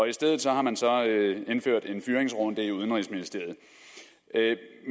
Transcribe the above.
i stedet har man indført en fyringsrunde i udenrigsministeriet